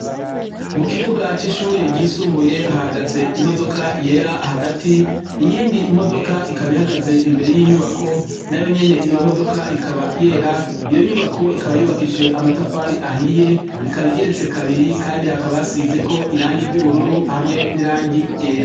Mukibuga cishure ryisumbuye hahagaze imodoka yera hagati iyindi modoka ikaba ihagaze imbere yinyubako nayo nyene iyo modoka ikaba yera iyo nyubako ikaba yubakishije amatafari ahiye ikaba igeretse kabiri kandi hakaba hasizeko irangi ryubururu hamwe nirangi ryera.